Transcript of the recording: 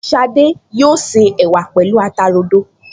Ṣadé yóò se ẹ̀wà pẹ̀lú ata rodo